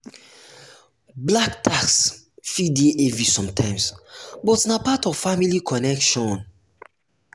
black tax fit dey heavy sometimes but na part of family connection.